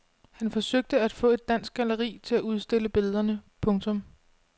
Han forsøgte at få et dansk galleri til at udstille billederne. punktum